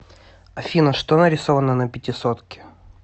афина что нарисовано на пятисотке